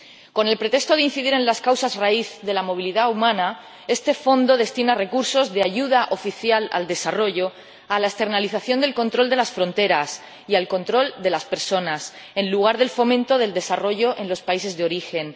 Con el pretexto de incidir en las causas raíz de la movilidad humana, este Fondo destina recursos de ayuda oficial al desarrollo a la externalización del control de las fronteras y al control de las personas, en lugar de al fomento del desarrollo en los países de origen.